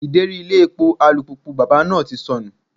Ideri ilé epo alùpùpù bàbá náà ti sọnù.